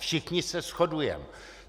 Všichni se shodujeme.